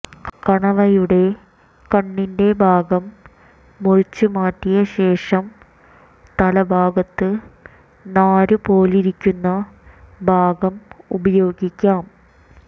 കണവയുടെ കണ്ണിന്റെ ഭാഗം മുറിച്ചുമാറ്റിയ ശേഷം തല ഭാഗത്ത് നാരുപോലിരിക്കുന്ന ഭാഗം ഉപയോഗിക്കാം